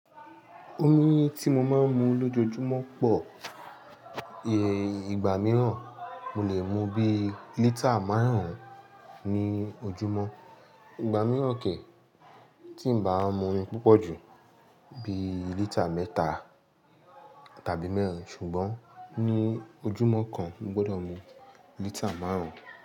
Omi tí mo máa ń mu lójoojúmọ́ pọ̀. Ìgbà mìíràn, mo lè mu bí lítà márùn-ún ní ojúmọ́. Ìgbà mìíràn ke, tín ba mu omi púpọ̀ jù bí lítà mẹ́ta tàbí mẹ́rin. Ṣùgbọ́n ní ojúmọ́ kan, mo gbọdọ̀ mu lítà márùn.